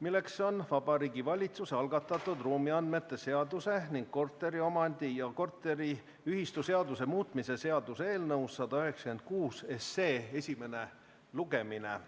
milleks on Vabariigi Valitsuse algatatud ruumiandmete seaduse ning korteriomandi- ja korteriühistuseaduse muutmise seaduse eelnõu 196 esimene lugemine.